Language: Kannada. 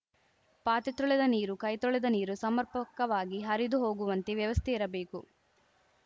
ಪಾತ್ರೆ ತೊಳೆದ ನೀರು ಕೈ ತೊಳೆದ ನೀರು ಸಮರ್ಪಕವಾಗಿ ಹರಿದು ಹೋಗುವಂತೆ ವ್ಯವಸ್ಥೆ ಇರಬೇಕು